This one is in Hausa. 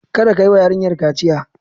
Kada ka yi wa yarinyar kaciya!